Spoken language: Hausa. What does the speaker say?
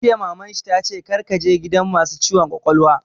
Jiya Maman shi ta ce 'Kar ka je gidan masu ciwon kwakwalwa'!